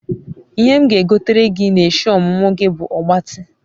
ihe m ga egotere gi n'eshi omumu gi bu ogbati